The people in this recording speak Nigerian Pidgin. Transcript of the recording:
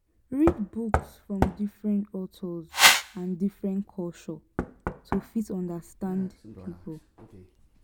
read books from different authors and different culture to fit understand pipo